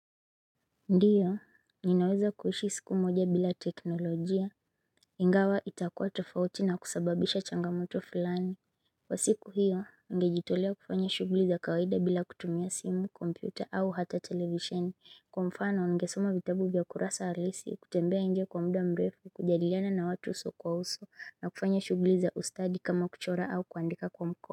Ndiyo, ninaweza kuhishi siku moja bila teknolojia. Ingawa itakua tofauti na kusababisha changamoto fulani. Kwa siku hiyo, ningejitolea kufanya shuguli za kawaida bila kutumia simu, kompyuta au hata television. Kwa mfanao, ningesoma vitabu vya kurasa alisi, kutembea nje kwa mda mrefu, kujadiliana na watu uso kwa uso, na kufanya shuguli za ustadi kama kuchora au kuandika kwa mko.